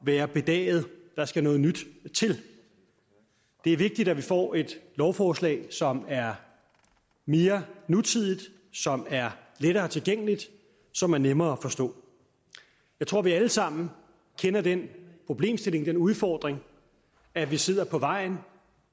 være bedaget der skal noget nyt til det er vigtigt at vi får et lovforslag som er mere nutidigt som er lettere tilgængeligt som er nemmere at forstå jeg tror vi alle sammen kender den problemstilling den udfordring at vi sidder på vejen